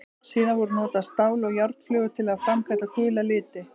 Síðar voru notaðar stál- eða járnflögur til að framkalla gula liti.